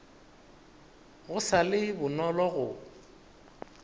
go sa le bonolo go